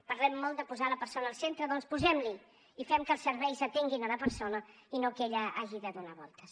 parlem molt de posar la persona al centre doncs posem l’hi i fem que els serveis atenguin la persona i no que ella hagi de donar voltes